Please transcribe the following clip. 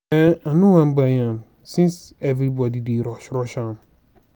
um i no wan buy am since everybody dey rush rush am